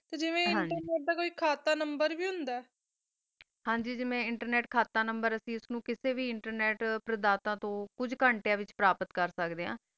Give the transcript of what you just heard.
ਜੀਵ ਕਾ internet ਖਾਤਾ ਨੰਬਰ ਵੀ number ਆ ਹਨ ਜੀ ਜੀਵਾ internet ਵਿਤਚ number ਕਰ ਸਕਦਾ ਆ ਟਰਨੇਟ ਦਾ ਵੀ ਖਾਤਾ ਨੰਬਰ ਕਿਸਾ ਵੀ internet ਨੂ ਕੁਛ